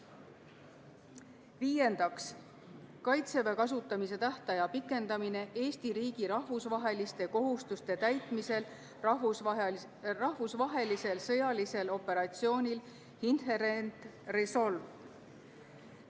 Viiendaks, Kaitseväe kasutamise tähtaja pikendamine Eesti riigi rahvusvaheliste kohustuste täitmisel rahvusvahelisel sõjalisel operatsioonil Inherent Resolve.